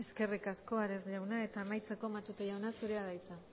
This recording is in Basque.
eskerrik asko ares jauna eta amaitzeko matute jauna zurea da hitza